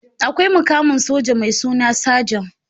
Akwai mukamin soja mai suna sajan